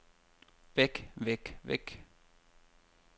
væk væk væk